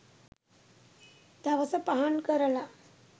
දවස පහන් කරලා